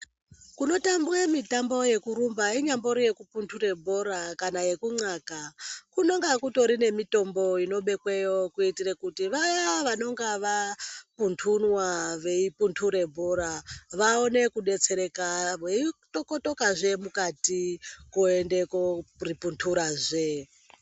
Kunotambwe mitambo yekurumba inyambori yeku pundure bhora kana yeku ncaka kunonga kutori nemitombo inobekweyo kuitre kuti vaya vanonga vapundunwa veipundure bhora vaone kubetsereka veitokotoka zve mukati koenda koripundurazve.